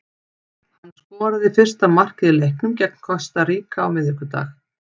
Hann skoraði fyrsta markið í leiknum gegn Kosta Ríka á miðvikudag.